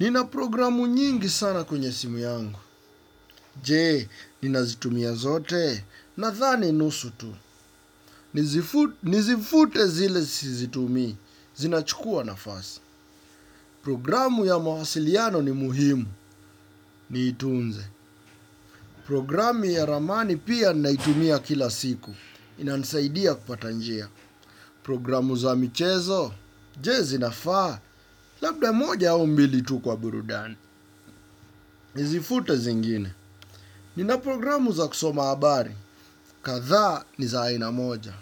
Nina programu nyingi sana kwenye simu yangu, jee, nina zitumia zote, na thani nusu tu, nizifute zile zitumi, zinachukua na fasi, programu ya mahasiliano ni muhimu, ni itunze, programu ya ramani pia nina itumia kila siku, inansaidia kupatanjia, programu za mchezo, jee zinafaa, labda moja au mbili tu kwa burudani, nizifute zingine, nina programu za kusoma abari. Katha ni za ayina moja.